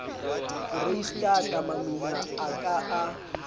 foreistata mamina e ka a